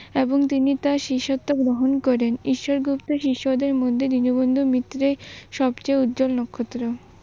এবং তিনি তার শিষ্যত্ব গহন করেন। ঈশ্বর গুপ্তের শিষ্যদের মধ্যে দীনবন্ধু মিত্রে সবচেয়ে উজ্জ্বল নক্ষত্র।